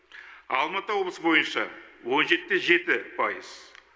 алматы облысы бойынша он жеті де жеті пайыз